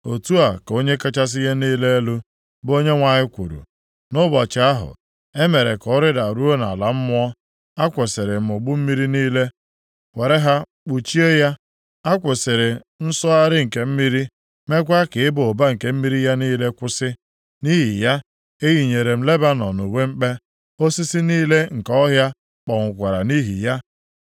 “ ‘Otu a ka Onye kachasị ihe niile elu, bụ Onyenwe anyị kwuru: Nʼụbọchị ahụ e mere ka ọ rịdaruo nʼala mmụọ, a kwụsịrị m ogbu mmiri niile were ha kpuchie ya. A kwụsịrị nsọgharị nke mmiri, meekwa ka ịba ụba nke mmiri ya niile kwụsị. Nʼihi ya, eyinyere m Lebanọn uwe mkpe, osisi niile nke ọhịa kpọnwụkwara nʼihi ya.